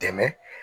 Dɛmɛ